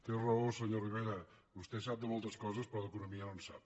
té raó senyor rivera vostè sap de moltes coses però d’economia no en sap